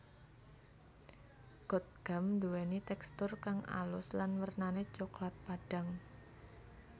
Gotgam duweni tekstur kang alus lan wernane coklat padhang